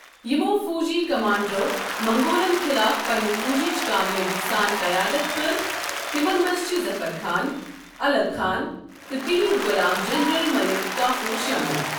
یِمو فوجی کمانڈرو منگولن خلاف پننہِ فوجٕچ کامیٲبی سان قَیادت کٔر تِمن منٛز چھِ ظفر خان، الغ خان، تہٕ تہُنٛد غلام جنرل مٔلِک کافور شٲمِل۔